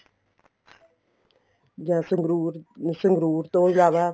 ਜਾਂ ਸੰਗਰੂਰ ਸੰਗਰੂਰ ਤੋਂ ਇਲਾਵਾ